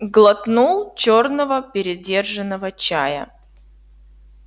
глотнул чёрного передержанного чая